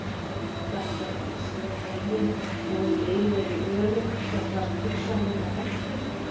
Þannig gæti ég séð veginn og um leið verið örugg gagnvart hugsanlegri hættu.